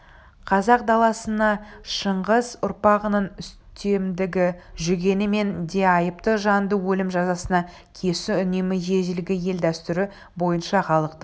қазақ даласына шыңғыс ұрпағының үстемдігі жүргенменен де айыпты жанды өлім жазасына кесу үнемі ежелгі ел дәстүрі бойынша халықтың